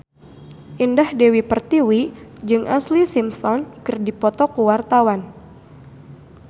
Indah Dewi Pertiwi jeung Ashlee Simpson keur dipoto ku wartawan